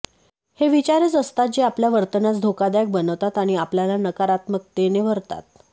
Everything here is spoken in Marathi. हे विचारच असतात जे आपल्या वर्तनास धोकादायक बनवतात आणि आपल्याला नकारात्मकतेने भरतात